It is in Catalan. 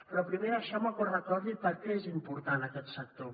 però primer deixeu me que us recordi per què és important aquest sector